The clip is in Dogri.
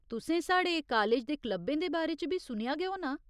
तुसें साढ़े कालेज दे क्लबें दे बारे च बी सुनेआ गै होना।